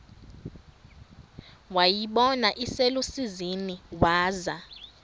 wayibona iselusizini waza